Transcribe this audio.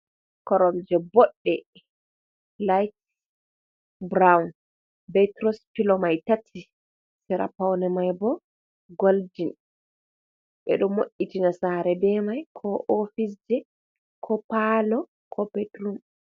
Koromje bodɗe layit brown be turos pilo mai tati sira poune mai bo goldin ɓe ɗo mo’itina sare be mai ko ofis je ko palo ko ɓetrum.